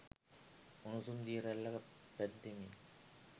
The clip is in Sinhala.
උණුසුම් දිය රැල්ලක පැද්දෙමින්